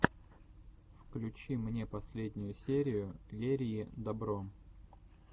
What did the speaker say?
включи мне последнюю серию лерии добро